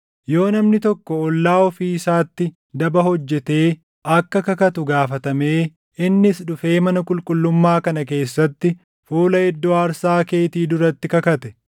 “Yoo namni tokko ollaa ofii isaatti daba hojjetee akka kakatu gaafatamee, innis dhufee mana qulqullummaa kana keessatti fuula iddoo aarsaa keetii duratti kakate,